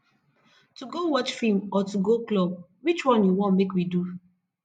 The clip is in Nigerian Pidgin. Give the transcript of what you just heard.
to go watch film or to go club which one you wan make we do